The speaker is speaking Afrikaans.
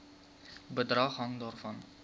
bedrag hang daarvan